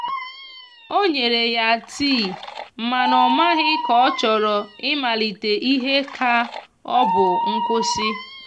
o nyere ya tii mana o maghi ka ochọrọ i malite ihe ka ọbụ nkwụsi.